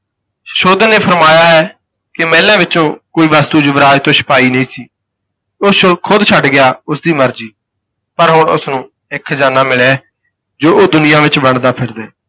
ਸੁਸ਼ੋਧਨ ਨੇ ਫਰਮਾਇਆ ਹੈ ਕਿ ਮਹਿਲਾਂ ਵਿਚੋਂ ਕੋਈ ਵਸਤੂ ਯੁਵਰਾਜ ਤੋਂ ਛੁਪਾਈ ਨਹੀਂ ਸੀ, ਉਹ ਸ਼ੋ ਖੁਦ ਛੱਡ ਗਿਆ, ਉਸ ਦੀ ਮਰਜ਼ੀ, ਪਰ ਹੁਣ ਉਸਨੂੰ ਇਕ ਖਜ਼ਾਨਾ ਮਿਲਿਆ ਹੈ ਜੋ ਉਹ ਦੁਨੀਆਂ ਵਿਚ ਵੰਡਦਾ ਫਿਰਦਾ ਹੈ।